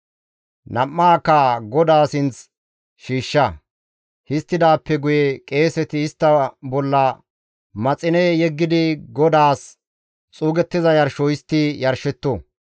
nam7aakka GODAA sinth shiishsha. Histtidaappe guye qeeseti istta bolla maxine yeggidi GODAAS xuugettiza yarsho histti yarshetto.